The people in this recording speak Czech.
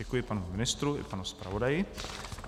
Děkuji panu ministru i panu zpravodaji.